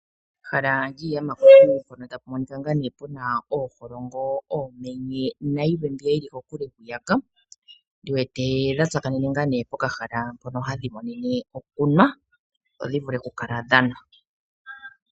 Ehala lyiiyamakuti mpono tapu monika ngaa nee puna ooholongo, oomenye nayilwe mbyoka yili kokule hwiyaka ndiwete odha tsakanene ngaa nee pokahala mpono hadhi monene okunwa dho dhivule okukala dhanwa.